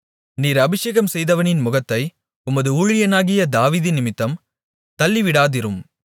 நீர் அபிஷேகம்செய்தவனின் முகத்தை உமது ஊழியனாகிய தாவீதினிமித்தம் தள்ளிவிடாதிரும்